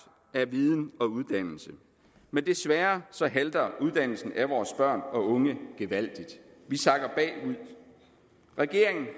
af viden og uddannelse men desværre halter uddannelsen af vores børn og unge gevaldigt vi sakker bagud regeringen